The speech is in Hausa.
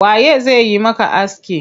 Waye zai yi maka aski?